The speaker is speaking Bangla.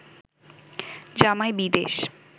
জামাই বিদেশ